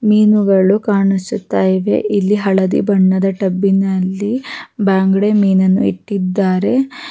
ಮೀನುಗಳು ಕಾಣಿಸುತ ಇವೆ ಇಲ್ಲಿ ಹಳದಿ ಬಣ್ಣದ ಟಬ್ಬಿನಲ್ಲಿ ಬಂಗಡೆ ಮೀನನ್ನು ಇಟ್ಟಿದ್ದಾರೆ --